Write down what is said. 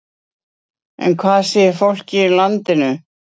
En hvað segir fólkið í landinu?